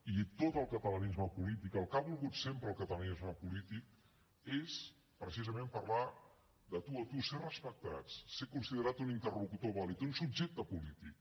i tot el catalanisme polític el que ha volgut sempre el catalanisme polític és precisament parlar de tu a tu ser respectats ser considerat un interlocutor vàlid un subjecte polític